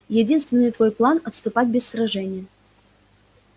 единственный твой план отступать без сражения